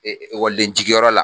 ekɔliden jigiyɔrɔ la